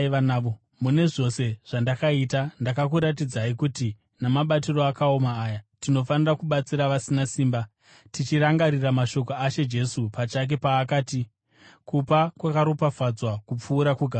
Mune zvose zvandakaita, ndakakuratidzai kuti namabatiro akaoma aya, tinofanira kubatsira vasina simba, tichirangarira mashoko aShe Jesu pachake paakati, ‘Kupa kwakaropafadzwa kupfuura kugamuchira.’ ”